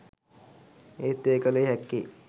එහෙත් එය කල හැක්කේ